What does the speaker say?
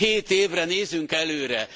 Hét évre nézünk előre!